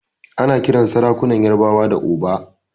Ana kiran sarakunan ƴarbawa da Oba.